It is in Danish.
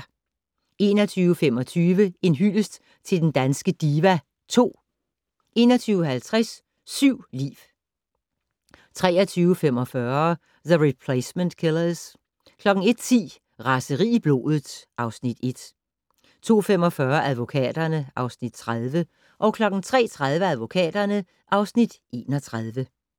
21:25: En hyldest til den danske diva (2) 21:50: Syv liv 23:45: The Replacement Killers 01:10: Raseri i blodet (Afs. 1) 02:45: Advokaterne (Afs. 30) 03:30: Advokaterne (Afs. 31)